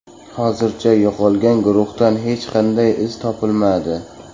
Hozircha yo‘qolgan guruhdan hech qanday iz topilmadi.